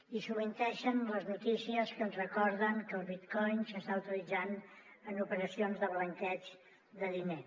i sovintegen les notícies que ens recorden que el bitcoin s’està utilitzant en operacions de blanqueig de diner